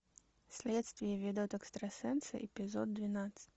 следствие ведут экстрасенсы эпизод двенадцать